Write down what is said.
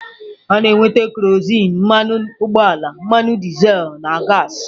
A na-enweta kerozin, mmanụ ugboala, mmanụ dizel na gaasị.